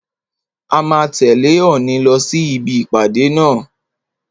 A máa tẹ̀lẹ́ Òòni lọ sí ibi ìpàdé náà.